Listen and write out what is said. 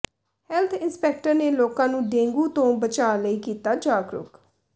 health inspector ਨੇ ਲੋਕਾਂ ਨੂੰ ਡੇਂਗੂ ਤੋਂ ਬਚਾਅ ਲਈ ਕੀਤਾ ਜਾਗਰੂਕ